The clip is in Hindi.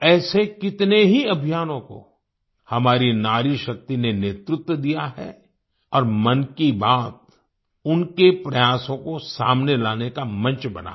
ऐसे कितने ही अभियानों को हमारी नारीशक्ति ने नेतृत्व दिया है और मन की बात उनके प्रयासों को सामने लाने का मंच बना है